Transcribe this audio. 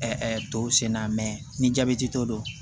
tɔw senna ni jabɛti t'o don